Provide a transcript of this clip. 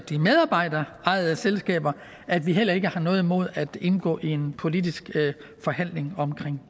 de medarbejderejede selskaber at vi heller ikke har noget imod at indgå i en politisk forhandling om